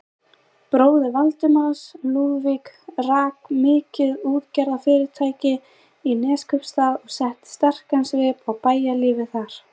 Bróðir Valdimars, Lúðvík, rak mikið útgerðarfyrirtæki í Neskaupsstað og setti sterkan svip á bæjarlífið þar.